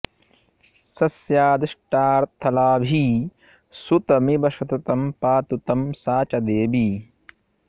स स्यादिष्टार्थलाभी सुतमिव सततं पातु तं सा च देवी